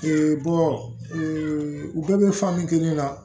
u bɛɛ bɛ kelen na